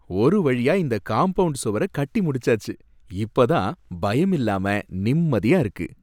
ஒரு வழியா இந்த காம்பவுண்ட் சுவர கட்டி முடிச்சாச்சு, இப்ப தான் பயமில்லாம நிம்மதியா இருக்கு.